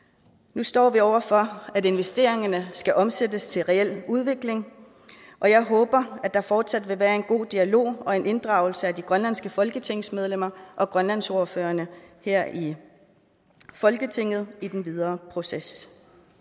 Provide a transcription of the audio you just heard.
nu står vi over for at investeringerne skal omsættes til reel udvikling og jeg håber at der fortsat vil være en god dialog og en inddragelse af de grønlandske folketingsmedlemmer og grønlandsordførerne her i folketinget i den videre proces